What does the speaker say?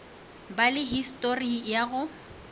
ba le histori ya go